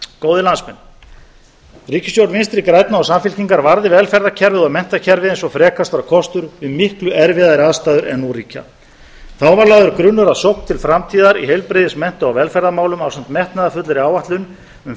góðir landsmenn ríkisstjórn vinstri grænna og samfylkingar varði velferðarkerfið og menntakerfið eins og frekast var kostur við miklu erfiðari aðstæður en nú ríkja þá var lagður grunnur að sókn til framtíðar í heilbrigðis mennta og velferðarmálum ásamt metnaðarfullri áætlun um